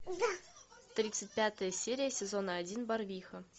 тридцать пятая серия сезона один барвиха